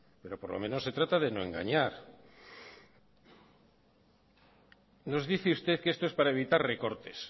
pero por lo menos se trata de no engañar nos dice usted que esto es para evitar recortes